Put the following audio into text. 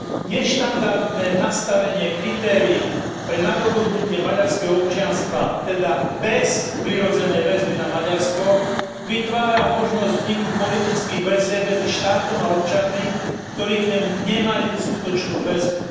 Neštandardné nastavenie kritérií pre nadobudnutie maďarského občianstva, teda bez prirodzenej väzby na Maďarsko, vytvára možnosť vzniku politických väzieb medzi štátom a občanmi, ktorí k nemu nemajú skutočnú väzbu.